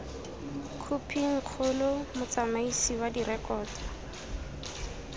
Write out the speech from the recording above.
khophing kgolo motsamaisi wa direkoto